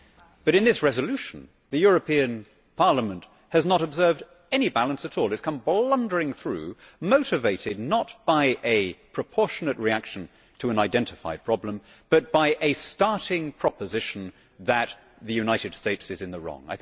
But in this resolution the European Parliament has not observed any balance at all. It has come blundering through, motivated not by a proportionate reaction to an identified problem, but by a starting proposition that the United States is in the wrong.